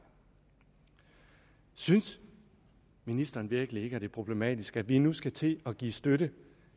synes ministeren virkelig ikke at det er problematisk at vi nu skal til at give støtte